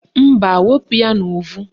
Mba, wepu ya n'uvu